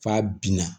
F'a binna